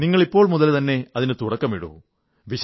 നിങ്ങൾ ഇപ്പോൾ മുതൽതന്നെ അതിന് തുടക്കമിടൂ